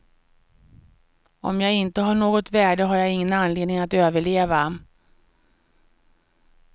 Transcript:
Om jag inte har något värde har jag ingen anledning att överleva.